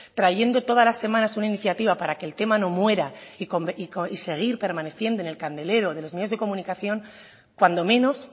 trayendo todas las semanas una iniciativa para el que tema no muera y seguir permaneciendo en el candelero de los medios de comunicación cuando menos